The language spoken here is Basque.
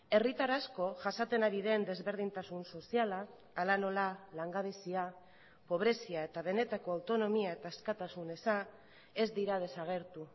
herritar asko jasaten ari den desberdintasun soziala hala nola langabezia pobrezia eta benetako autonomia eta askatasun eza ez dira desagertu